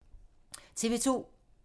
TV 2